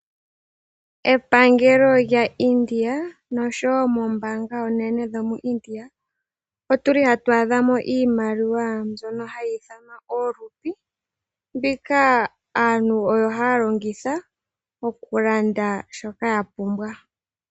Epangelo lyaIndia oshowoo moombaanga dhaIndia otu li hatu adhamo iimaliwa mbyono hayi ithanwa ooRupi. Mbono ohayi longithwa okulanda shoka yapumbwa.